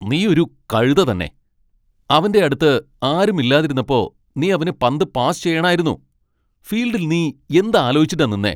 നീ ഒരു കഴുത തന്നെ . അവന്റെ അടുത്ത് ആരും ഇല്ലാതിരുന്നപ്പോ നീ അവന് പന്ത് പാസ് ചെയ്യണായിരുന്നു. ഫീൽഡിൽ നീ എന്ത് അലോചിച്ചിട്ടാ നിന്നേ ?